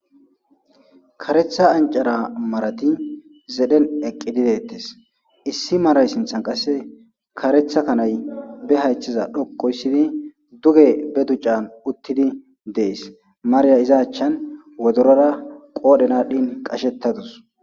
Karetha ancara marati zedhen eqidi deetes issi maray sinthan qaseka karetha kanay be haytheza djoqu histidi duge be ducan uttidi fees Mariya iza achan wodotora qodhen adhin qacheta utadus